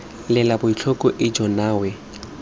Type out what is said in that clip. lela botlhoko ijoo nna we